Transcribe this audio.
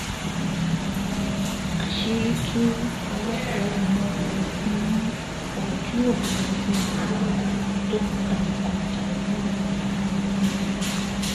àṣírí tú owó tẹ ọmọ ogun ojú òfúrufú ilé wa tó ń ta nǹkan ìjà olóró fáwọn agbébọ̀n